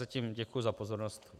Zatím děkuji za pozornost.